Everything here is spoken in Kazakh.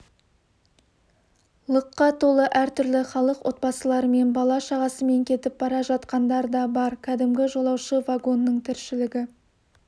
лықа толы әр түрлі халық отбасыларымен бала-шағасымен кетіп бара жатқандар да бар кәдімгі жолаушы вагонның тіршілігі